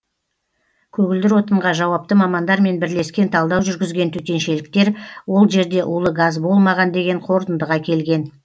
көгілдір отынға жауапты мамандармен бірлескен талдау жүргізген төтеншеліктер ол жерде улы газ болмаған деген қорытындыға келген